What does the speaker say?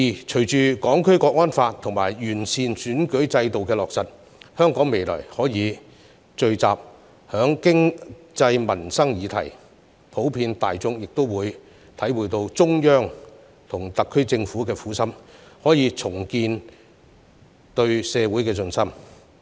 隨着《香港國安法》及完善選舉制度的落實，香港未來可以聚焦在經濟民生議題，普遍大眾亦會體會到中央和特區政府的苦心，可以重建對社會的信心。